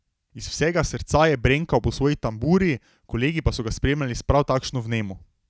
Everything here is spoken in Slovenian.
Iz vsega srca je brenkal po svoji tamburi, kolegi pa so ga spremljali s prav takšno vnemo.